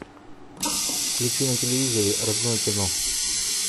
включи на телевизоре родное кино